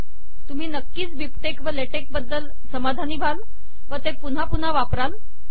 तुम्ही नक्कीच बिबटेक्स व लॅटेक्स बद्दल समाधानी व्हाल व ते पुन्हा पुन्हा वापराल